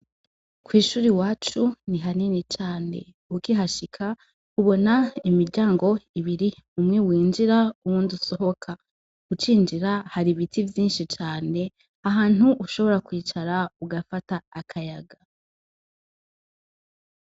Kw'ishuri iwacu ni hanini cane. Ukihashika ubona imiryango ibiri umwe winjira uwundi usohoka. Ucinjira hari ibiti vyinshi cane ahantu ushobora kwicara ugafata akayaga.